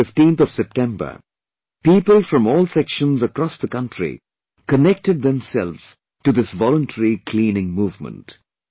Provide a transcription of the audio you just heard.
On the 15th of September, people from all sections across the country connected themselves to this voluntary cleaning movement